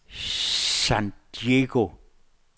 San Diego